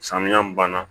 Samiya min banna